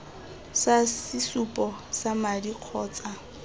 sa sesupo sa madi kgotsa